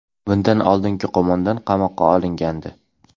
Bundan oldingi qo‘mondon qamoqqa olingandi.